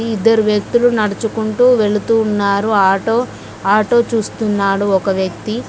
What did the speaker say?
ఇద్దరు వ్యక్తులు నడుచుకుంటూ వెళుతూ ఉన్నారు ఆటో చూస్తున్నాడు ఒక వ్యక్తి.